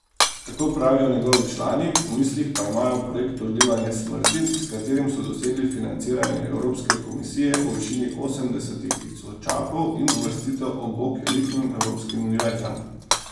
Tako pravijo njegovi člani, v mislih pa imajo projekt Odlivanje smrti, s katerim so dosegli financiranje evropske komisije v višini osemdesetih tisočakov in uvrstitev ob bok elitnim evropskim univerzam.